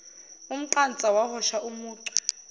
umqansa wahosha umucu